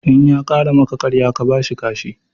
In ya ƙara maka ƙarya ka bashi kashi